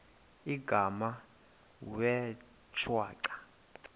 igama wee shwaca